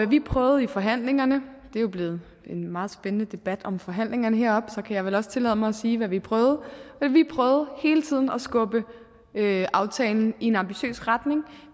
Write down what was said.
vi prøvede i forhandlingerne det er jo blevet en meget spændende debat om forhandlingerne heroppe og så kan jeg vel også tillade mig at sige hvad vi prøvede hele tiden at skubbe aftalen i en ambitiøs retning